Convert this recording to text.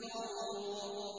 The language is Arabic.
الْغَرُورُ